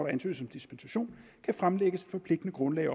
ansøges om dispensation kan fremlægge forpligtende grundlag